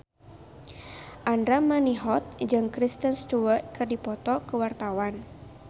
Andra Manihot jeung Kristen Stewart keur dipoto ku wartawan